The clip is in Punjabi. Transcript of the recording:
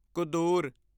ਕੁਦੂਰ